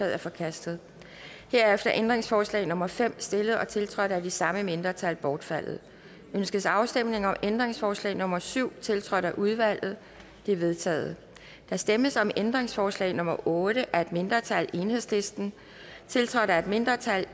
er forkastet herefter er ændringsforslag nummer fem stillet og tiltrådt af de samme mindretal bortfaldet ønskes afstemning om ændringsforslag nummer syv tiltrådt af udvalget det er vedtaget der stemmes om ændringsforslag nummer otte af et mindretal tiltrådt af et mindretal og